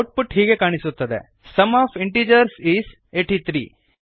output ಹೀಗೆ ಕಾಣಿಸುತ್ತದೆ sum of integers is 83